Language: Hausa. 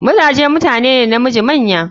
Mazaje mutune ne namiji manya.